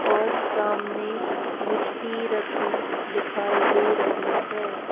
और सामने मिट्टी रखी दिखाई दे रही है।